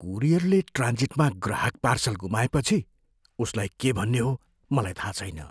कुरियरले ट्रान्जिटमा ग्राहक पार्सल गुमाएपछि उसलाई के भन्ने हो मलाई थाहा छैन।